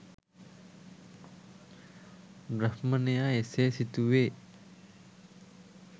බ්‍රාහ්මණයා එසේ සිතුවේ